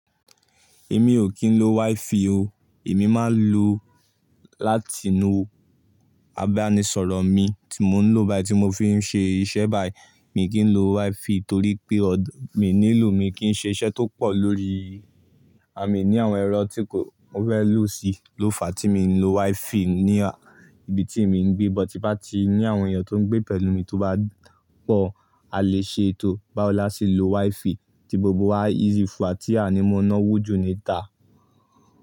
Èmi ò kí ń lo WiFi o, èmi máa ń lo láti inú abánisọ̀rọ̀ mi tí mò ń lo báyìí tí mò fi ń ṣe iṣẹ́ báyìí. Mi kì í lo WiFi torí pé mi ò nílò mi kí n ṣe iṣẹ́ tó pọ̀ lórí, mi ní àwọn ẹ̀rọ tí kò fẹ́ lù si ló fà á tí mi ò ń lo WiFi ní ibi tí mi ń gbé, but tí ń bá ti ní àwọn èèyàn tó ń gbé pẹ̀lú mi tó bá pọ̀, a lè ṣe ètò báwo láti lo WiFi tí gbogbo wa yíì fún, tí a ní mọ́ná wòjú níta.